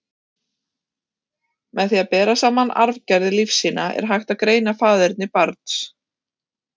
Með því að bera saman arfgerðir lífsýna, er hægt að greina faðerni barns.